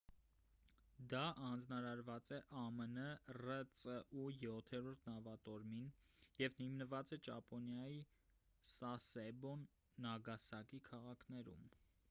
դա հանձնարարված է ամն ռծու յոթերորդ նավատորմին և հիմնված է ճապոնիայի սասեբո նագասակի քաղաքներում